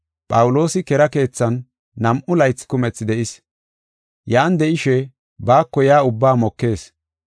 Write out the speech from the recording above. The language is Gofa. Phawuloosi kera keethan nam7u laythi kumethi de7is; yan de7ishe baako yaa ubbaa mokees.